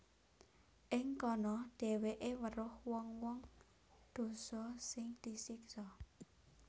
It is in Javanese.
Ing kana dhèwèké weruh wong wong dosa sing disiksa